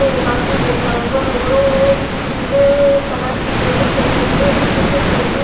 एक आदमी बैठा हुआ है वो ओ पीले ए कलर की जैकेट पहना हुए सफ़ेद शर्ट पहने--